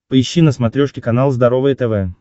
поищи на смотрешке канал здоровое тв